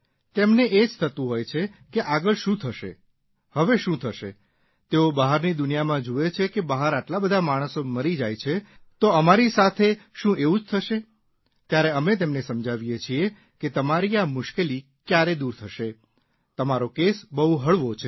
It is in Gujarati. તેમને એ જ થતું હોય છે કે આગળ શું થશે હવે શું થશે તેઓ બહારની દુનિયામાં જુએ છે કે બહાર આટલા બધા માણસો મરી જાય છે તો અમારી સાથે શું એવું જ થશે ત્યારે અમે તેમને સમજાવીએ છીએ કે તમારી આ મુશ્કેલી કયારે દૂર થશે તમારો કેસ બહુ હળવો છે